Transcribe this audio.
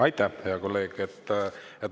Aitäh, hea kolleeg!